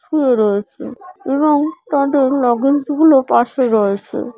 শুয়ে রয়েছে এবং তাদের লাগেজ গুলো পাশে রয়েছে।